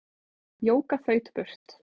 Jóka þaut burt.